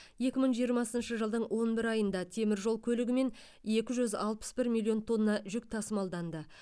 екі мың жиырмасыншы жылдың он бір айында темір жол көлігімен екі жүз алпыс бір миллион тонна жүк тасымалданды